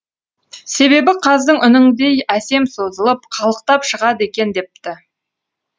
себебі қаздың үніңдей әсем созылып қалықтап шығады екен депті